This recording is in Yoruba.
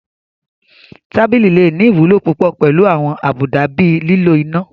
Tábìlì lè ní ìwúlò púpọ̀ pẹ̀lú àwọn àbùdá bíi lílo iná